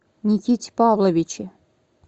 никите павловиче